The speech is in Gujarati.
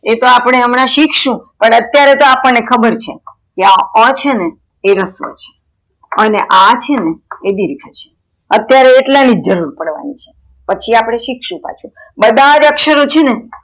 એતો અપડે હમણાં શીખશું પણ અત્યારે તો અપ્દને ખબર છે કે આ છેનેએ રસ્વ છે અને આ છેને દિર્ઘ છે અત્યારે એટલાનીજ જરૂર પડવાની છે પછી અપડે શીખશું પાછુ બધાજ અક્ષરો છેને.